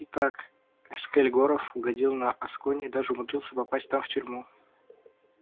итак эскель горов угодил на асконь и даже умудрился попасть там в тюрьму